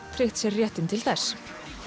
tryggt sér réttinn til þess